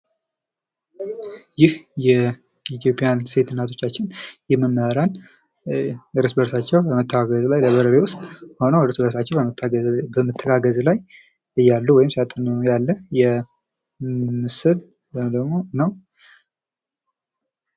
ይህ የኢትዮጵያዉያን ሴት እናቶቻችን የመምህራን እርስ በርሳቸው በመተባበር በላይብርሪ ዉስጥ ሁነው እርስ በርሳቸው በመተጋገዝ ላይ ያሉ ወይም ሲያጠኑ ምስል ወይም ደግሞ ነው።